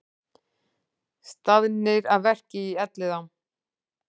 Staðnir að verki í Elliðaám